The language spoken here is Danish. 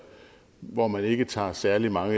hvor man ikke tager særlig mange